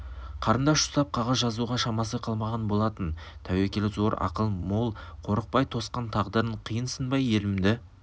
қарындаш ұстап қағаз жазуға шамасы қалмаған болатын тәуекел зор ақыл мол қорықпай тосқан тағдырын қиынсынбай елімді